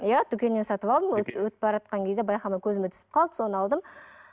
иә дүкеннен сатып алдым өтіп баратқан кезде байқамай көзіме түсіп қалды соны алдым